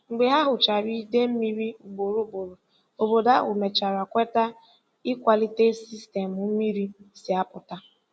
Mgbe ha hụchara idei mmiri ugboro ugboro, obodo ahụ mechara kweta ịkwalite sistemu mmiri si apụta.